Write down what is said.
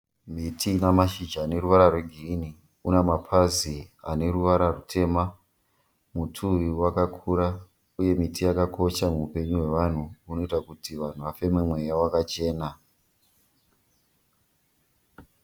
Miti ine mashizha aneruvara rwegirinhi. Une mapazi aneruvara rutema. Muti uyu wakakura uye miti akakosha muupenyu hwevanhu inoita kuti vanhu vafeme mweya wakachena.